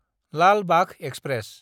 Lal Bagh express